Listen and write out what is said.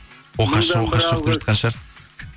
оқасы жоқ оқасы жоқ деп жатқан шығар